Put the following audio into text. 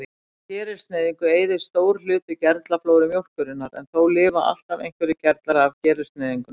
Við gerilsneyðingu eyðist stór hluti gerlaflóru mjólkurinnar, en þó lifa alltaf einhverjir gerlar af gerilsneyðingu.